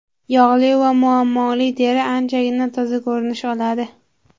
Yog‘li va muammoli teri anchagina toza ko‘rinish oladi.